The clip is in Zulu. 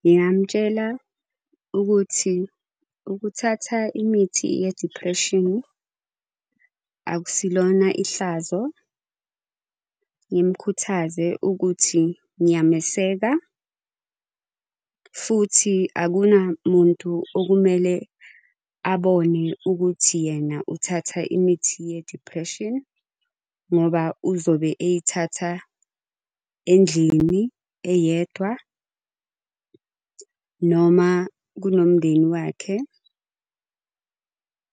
Ngingamtshela ukuthi ukuthatha imithi ye-depression akusilona ihlazo. Ngimukhuthaze ukuthi ngiyameseka, futhi Akunamuntu okumele abone ukuthi yena uthatha imithi ye-depression, ngoba uzobe eyithatha endlini eyedwa noma kunomundeni wakhe.